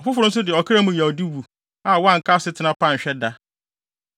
Ɔfoforo nso de ɔkra mu yawdi wu, a wanka asetena pa anhwɛ da.